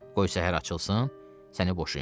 Qoy səhər açılsın, səni boşayım.